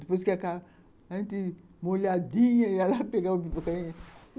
Depois que acaba, a gente molhadinha ia lá pegar o.